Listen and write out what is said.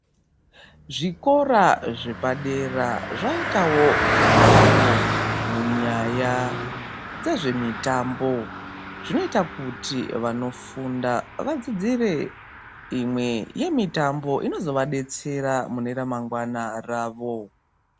Zvikora zvepadera zvaitawo budiriro munyaya dzezvemitambo zvinoita kuti vanofunda vadzidzire imwe yemitambo inozovadetsera mune ramangwana ravo.